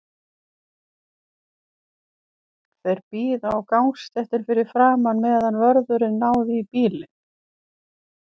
Þeir biðu á gangstéttinni fyrir framan, meðan vörðurinn náði í bílinn.